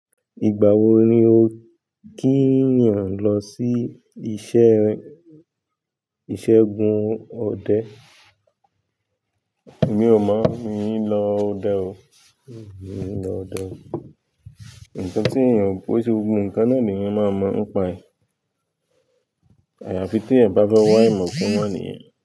Ìgbà wo ni o kí ènìyàn lọ sí iṣẹ́ gun ọdẹ? Mi ò mọ̀ mi ń lọ ọdẹ o. Nǹkan tí èyàn kò ṣe gbogbo nǹkan náà ni èyàn máa mọ̀, ni paẹ̀. Àyàfi tí èèyàn bá fẹ́ wá ìmọ̀ kún ìmọ̀ nìyẹn.